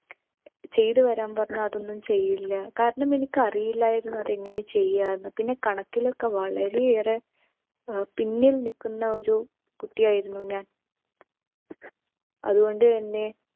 ചെയ്തു വരാൻ പറഞ്ഞാൽ അതൊന്നും ചെയ്യില്ല. കാരണം എനിക്കറിയില്ലാരുന്നു അതെങ്ങന ചെയ്യാന്ന്. പിന്നെ കണക്കിലൊക്കെ വളരെയേറെ ഏർ പിന്നിൽ നിൽക്കുന്ന ഒരു കുട്ടിയായിരുന്നു ഞാൻ. അതുകൊണ്ട് തന്നെ